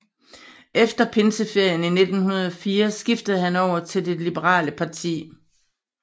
Efter pinseferien i 1904 skiftede han over til det liberale parti